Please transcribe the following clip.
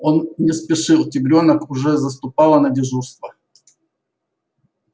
он не спешил тигрёнок уже заступала на дежурство